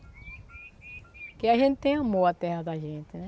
Porque a gente tem amor a terra da gente, né?